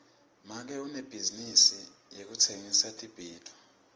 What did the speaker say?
make unebhizinisi yekutsengisa tibhidvo